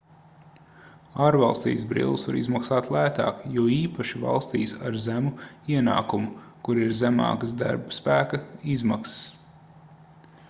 ārvalstīs brilles var izmaksāt lētāk jo īpaši valstīs ar zemu ienākumu kur ir zemākas darbaspēka izmaksas